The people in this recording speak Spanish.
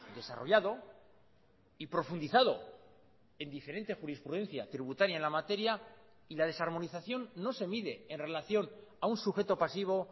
desarrollado y profundizado en diferente jurisprudencia tributaria en la materia y la desarmonización no se mide en relación a un sujeto pasivo